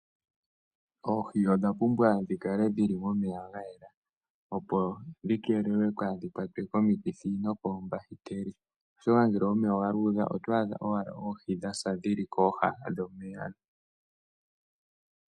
Oohi odha pumbwa dhikale momeya gayela opo dhikeelelwe kaadhi kwatwe komikithi nokoombahiteli oshoka ngele omeya oga luudha oto adha owala oohi dhasa ndhili kooha dhomeya